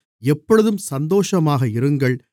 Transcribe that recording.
எப்பொழுதும் சந்தோஷமாக இருங்கள்